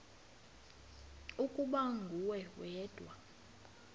ukuba nguwe wedwa